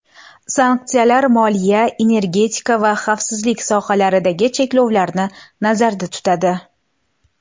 Sanksiyalar moliya, energetika va xavfsizlik sohalaridagi cheklovlarni nazarda tutadi.